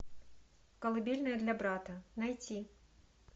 колыбельная для брата найти